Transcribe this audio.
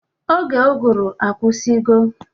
Oge ụgụrụ akwụsigo ugbua?